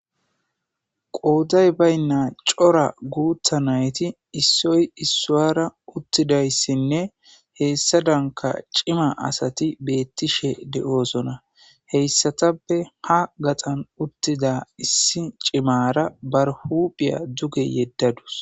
qooday baynna cora guutha nayti issoy issuwara uttidayssinne heessa danka cima asati beettishe de7oosona heyssatappe ha gaxan uttida issi cimara barhuphiya duge yeddadus